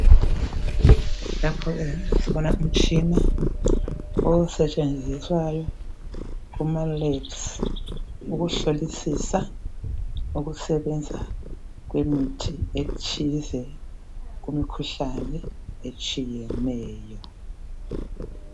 Lapho ke sibona umtshina osetshenziswayo kuma"labs",ukuhlolisisa ukusebenza kwemithi ethize kumikhuhlane etshiyeneyo.